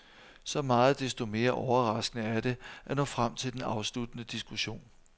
Så meget desto mere overraskende er det at nå frem til den afsluttende diskussion.